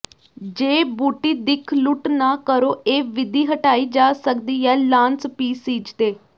ਜੇ ਬੂਟੀ ਦਿੱਖ ਲੁੱਟ ਨਾ ਕਰੋ ਇਹ ਵਿਧੀ ਹਟਾਈ ਜਾ ਸਕਦੀ ਹੈ ਲਾਅਨ ਸਪੀਸੀਜ਼ ਦੇ